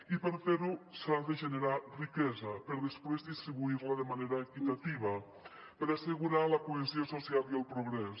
i per fer ho s’ha de generar riquesa per després distribuir la de manera equitativa per assegurar la cohesió social i el progrés